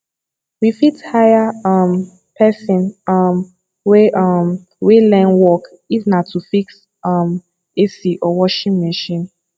we fit hire um person um wey um wey learn work if na to fix um ac or washing machine